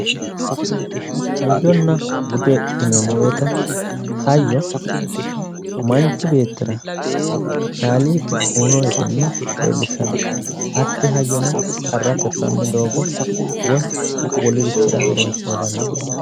hayyonna bude yineemmo woyite hayyo manchi beettira kaaliiqi uyiino egenno leellishshanno hatti hayyono qarra tirranni doogo woyi wolurichira horonsira dandiinanni.